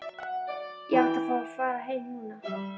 Ég átti að fá að fara heim núna.